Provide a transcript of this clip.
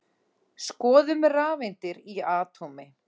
Skoðum rafeindir í atómi.